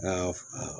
N'a f